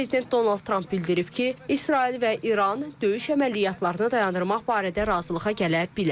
Prezident Donald Tramp bildirib ki, İsrail və İran döyüş əməliyyatlarını dayandırmaq barədə razılığa gələ bilər.